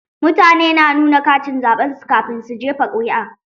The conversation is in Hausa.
Mutane na nuna katin zaɓen su kafin su jefa ƙuri'a.